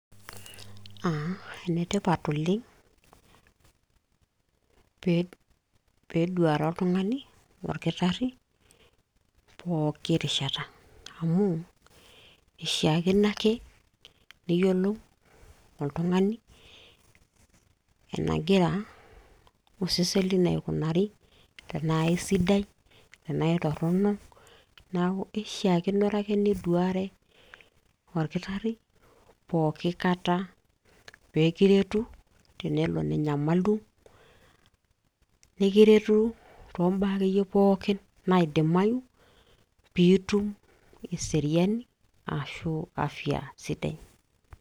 Enetipat oleng' peeduare oltung'ani olkitarri pooki rishata, amu eishiakino ake niyiolou oltung'ani enagira osesen lino aikunari tenaa aisidai tenaa aitorrono neeku eishiakinore ake niduare olkitarri pooki kata peekiretu tenelo ninyamalu, nikiretu tombaa akeyie pooki naidimayu piitum eseriani ashu afya sidai.